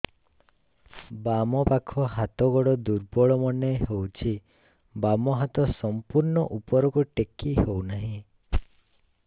ବାମ ପାଖ ହାତ ଗୋଡ ଦୁର୍ବଳ ମନେ ହଉଛି ବାମ ହାତ ସମ୍ପୂର୍ଣ ଉପରକୁ ଟେକି ହଉ ନାହିଁ